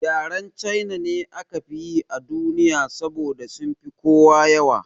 Yaren China ne aka fi yi a duniya saboda sunfi kowa yawa